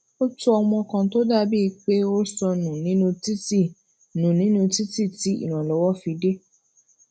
ó tu ọmọ kan tó dà bíi pé ó sọ nù nínú títí nù nínú títí tí ìrànlówó fi dé